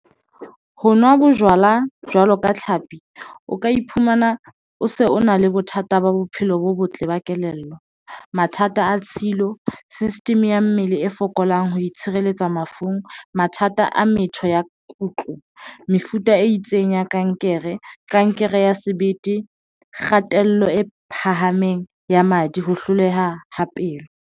Ho nwa bojwala jwalo ka tlhapi, o ka iphumana o se o na le bothata ba bophelo bo botle ba kelello. Mathata a tshilo system ya mmele e fokolang ho itshireletsamafung. Mathata a methapo ya kutlo, mefuta e itseng ya kankere, kankere ya sebete, kgatello e phahameng ya madi ho hloleha ho pelo.